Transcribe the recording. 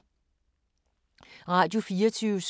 Radio24syv